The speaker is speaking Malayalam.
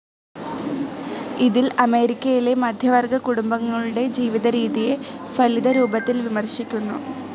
ഇതിൽ അമേരിക്കയിലെ മധ്യവർഗ്ഗ കുടുംബങ്ങളുടെ ജീവിതരീതിയെ ഫലിതരൂപത്തിൽ വിമർശിക്കുന്നു.